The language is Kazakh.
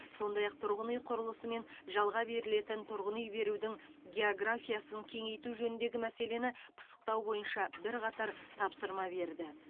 сондай ақ тұрғын үй құрылысы мен жалға берілетін тұрғын үй берудің географиясын кеңейту жөніндегі мәселені пысықтау бойынша бірқатар тапсырма берді